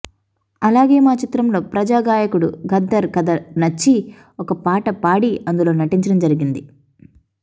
అలాగే మా చిత్రంలో ప్రజా గాయకుడు గద్దర్ కథ నచ్చి ఒక పాట పాడి అందులో నటించడం జరిగింది